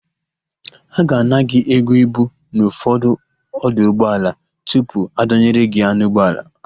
A ga-ana gị ego ibu n'ụfọdụ ọdụ ụgbọala tupu adọnyere gị ya n'ụgbọala.